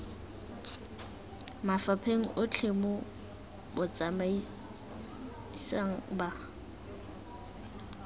mafapheng otlhe mo botsamaisng ba